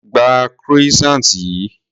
Gba croissant yìí.